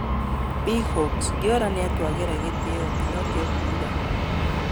Big Hawks: Diola "nĩatwagira gĩtĩo," Pinokio akiuga.